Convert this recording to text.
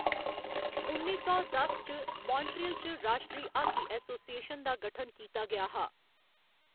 उन्नी सौ दस च, मान्ट्रियल च राश्ट्री हाकी एसोसिएशन दा गठन कीता गेआ हा।